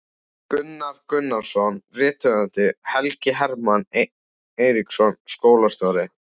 Gunnar Gunnarsson rithöfundur, Helgi Hermann Eiríksson skólastjóri